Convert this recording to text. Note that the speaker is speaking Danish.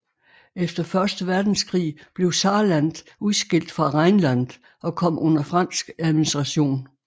Efter første verdenskrig blev Saarland udskilt fra Rheinland og kom under fransk administration